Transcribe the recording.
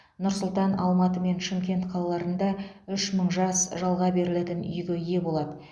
нұр сұлтан алматы мен шымкент қалаларында үш мың жас жалға берілетін үйге ие болады